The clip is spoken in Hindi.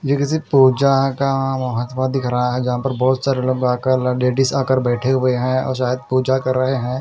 ये किसी पूजा का वहतवा दिख रहा है जहाँ पर बहुत सारे लोग आकर ल लेडीज़ आकर बैठे हुए हैं और शायद पूजा कर रहे हैं।